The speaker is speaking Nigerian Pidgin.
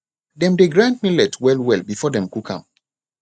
dem dey grind millet wellwell before dem cook am